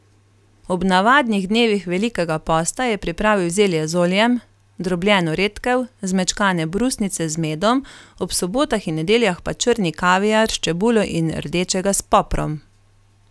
Ob navadnih dnevih velikega posta je pripravil zelje z oljem, drobljeno redkev, zmečkane brusnice z medom, ob sobotah in nedeljah pa črni kaviar s čebulo in rdečega s poprom.